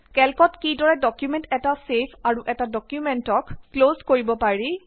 কেল্কত কিদৰে ডকুমেন্ট এটা ছেভ আৰু এটা ডকুমেন্টক ক্লজ কৰিব পাৰি